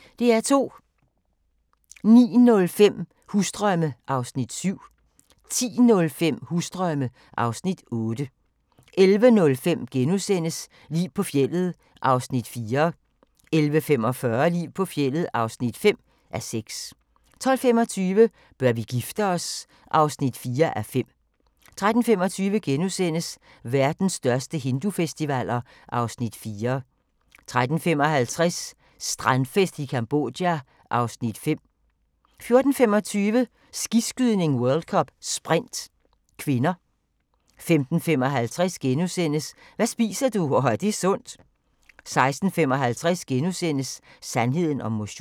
09:05: Husdrømme (Afs. 7) 10:05: Husdrømme (Afs. 8) 11:05: Liv på fjeldet (4:6)* 11:45: Liv på fjeldet (5:6) 12:25: Bør vi gifte os? (4:5) 13:25: Verdens største hindufestivaler (Afs. 4)* 13:55: Strandfest i Cambodja (Afs. 5) 14:25: Skiskydning: World Cup - Sprint (k) 15:55: Hvad spiser du – og er det sundt? * 16:55: Sandheden om motion *